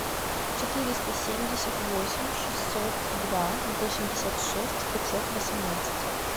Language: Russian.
четыреста семьдесят восемь шестьсот два восемьдесят шесть пятьсот восемнадцать